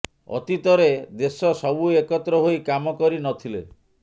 ଅତୀତରେ ଦେଶ ସବୁ ଏକତ୍ର ହୋଇ କାମ କରି ନ ଥିଲେ